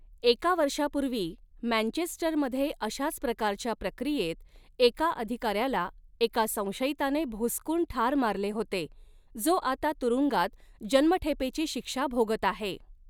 एका वर्षापूर्वी मँचेस्टरमध्ये अशाच प्रकारच्या प्रक्रियेत एका अधिकाऱ्याला एका संशयिताने भोसकून ठार मारले होते, जो आता तुरुंगात जन्मठेपेची शिक्षा भोगत आहे.